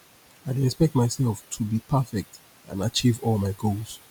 i dey expect myself to be perfect and achieve all my goals